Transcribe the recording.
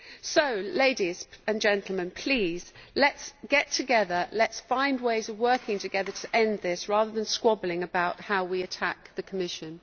So, ladies and gentlemen, please let us get together, let us find ways of working together to end this, rather than squabbling about how we attack the Commission.